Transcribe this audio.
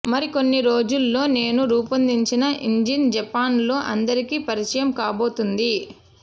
మరికొన్ని రోజుల్లో నేను రూపొందించిన ఇంజిన్ జపాన్లో అందరికీ పరిచయం కాబోతోంది